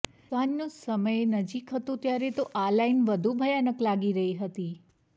સાંજનો સમય નજીક હતો ત્યારે તો આ લાઈન વધુ ભયાનક લાગી રહી હતી